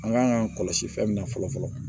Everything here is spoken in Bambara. An kan k'an kɔlɔsi fɛn min na fɔlɔ fɔlɔ